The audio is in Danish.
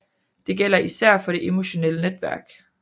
Det gælder især for de emotionelle netværk